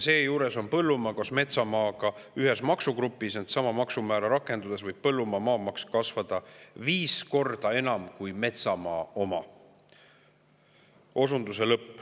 Seejuures on põllumaa koos metsamaaga ühes maksugrupis, ent sama maksumäära rakendudes võib põllumaa maamaks kasvada viis korda enam kui metsamaa oma.